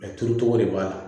turucogo de b'a la